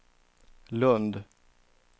Lundh